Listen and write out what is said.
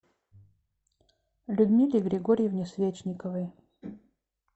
людмиле григорьевне свечниковой